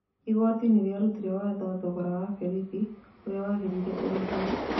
Igoti nĩ rĩarutire watho thogora wa Berĩthi ũrĩa wagĩrĩire ũrĩhwo.